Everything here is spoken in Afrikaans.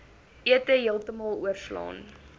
ete heeltemal oorslaan